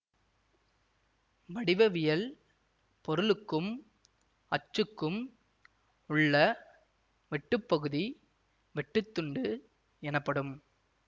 வடிவவியல் பொருளுக்கும் அச்சுக்கும் உள்ள வெட்டுப்பகுதி வெட்டுத்துண்டு எனப்படும்